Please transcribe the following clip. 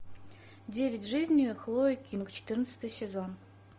девять жизней хлои кинг четырнадцатый сезон